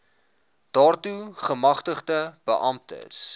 daartoe gemagtigde beamptes